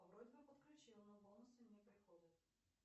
вроде бы подключила но бонусы не приходят